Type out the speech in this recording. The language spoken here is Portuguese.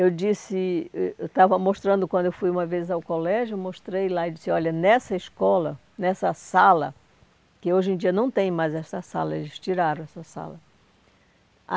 Eu disse, eu eu estava mostrando quando eu fui uma vez ao colégio, eu mostrei lá e disse, olha, nessa escola, nessa sala, que hoje em dia não tem mais essa sala, eles tiraram essa sala.